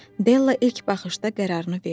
Della ilk baxışda qərarını verdi.